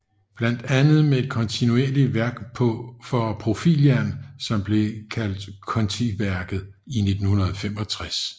Blandt andet med et kontinuerligt værk for profiljern som bliver kaldt kontiværket i 1965